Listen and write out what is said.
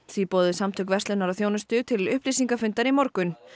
því boðuðu Samtök verslunar og þjónustu til upplýsingafundar í morgun